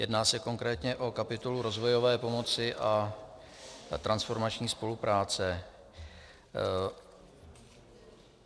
Jedná se konkrétně o kapitolu rozvojové pomoci a transformační spolupráce.